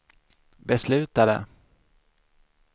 beslutade